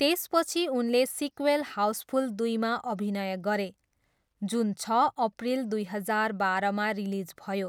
त्यसपछि उनले सिक्वेल हाउसफुल दुईमा अभिनय गरे, जुन छ अप्रिल दुई हजार बाह्रमा रिलिज भयो